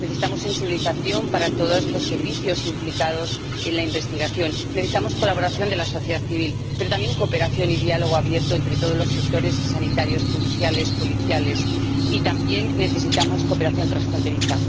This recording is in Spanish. Necesitamos sensibilización para todos los servicios implicados en la investigación. Necesitamos colaboración de la sociedad civil, pero también cooperación y diálogo abierto entre todos los sectores sanitarios, judiciales, policiales, y también necesitamos cooperación transfronteriza.